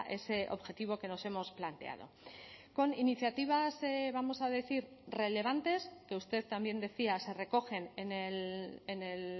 ese objetivo que nos hemos planteado con iniciativas vamos a decir relevantes que usted también decía se recogen en el